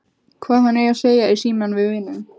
Hvað hann eigi að segja í símann við vininn.